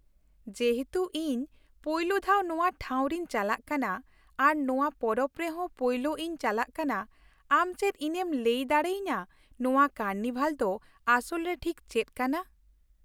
ᱡᱮᱦᱮᱛᱩ, ᱤᱧ ᱯᱳᱭᱞᱳ ᱫᱷᱟᱣ ᱱᱚᱶᱟ ᱴᱷᱟᱶ ᱨᱤᱧ ᱪᱟᱞᱟᱜ ᱠᱟᱱᱟ ᱟᱨ ᱱᱚᱶᱟ ᱯᱚᱨᱚᱵᱽ ᱨᱮ ᱦᱚ ᱯᱳᱭᱞᱳ ᱤᱧ ᱪᱟᱞᱟᱜ ᱠᱟᱱᱟ, ᱟᱢ ᱪᱮᱫ ᱤᱧ ᱮᱢ ᱞᱟᱹᱭ ᱫᱟᱲᱮ ᱟᱹᱧᱟᱹ ᱱᱚᱶᱟ ᱠᱟᱨᱱᱤᱵᱷᱟᱞ ᱫᱚ ᱟᱥᱚᱞ ᱨᱮ ᱴᱷᱤᱠ ᱪᱮᱫ ᱠᱟᱱᱟ ?